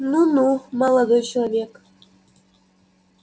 ну-ну молодой человек